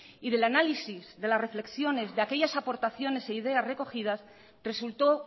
y del análisis de las reflexiones de aquellas aportaciones e ideas recogidas resultó